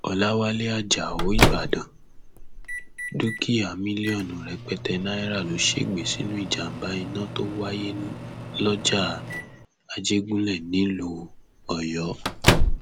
ọlàwálẹ ajáò ìbàdàn dúkìá mílíọnù rẹpẹtẹ náírà ló ṣègbè sínú ìjàmbá iná tó wáyé lọjà àjẹgúnlẹ nílùú ọyọ